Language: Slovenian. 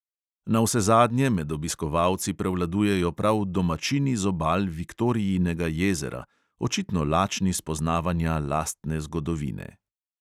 Navsezadnje med obiskovalci prevladujejo prav domačini z obal viktorijinega jezera, očitno lačni spoznavanja lastne zgodovine.